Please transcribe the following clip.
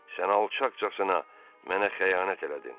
Sən alçaqcasına mənə xəyanət elədin.